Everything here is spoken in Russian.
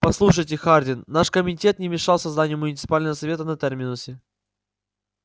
послушайте хардин наш комитет не мешал созданию муниципального совета на терминусе